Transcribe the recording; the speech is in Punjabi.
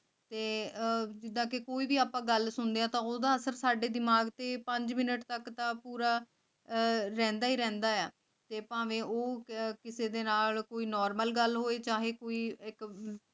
ਸਾਂਭੀ ਤਾਂ ਕਿ ਕੋਈ ਵੀ ਆਪਾਂ ਗੱਲ ਸੁਣਦਿਆਂ ਸਹੂਲਤਾਂ ਸਾਡੇ ਦਿਮਾਗ ਸੀ ਮਿਨਟ ਤੱਕ ਦਾ ਪੂਰਾ ਰਹਿੰਦਾ ਹੈ ਹੈ